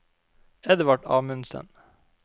Edvard Amundsen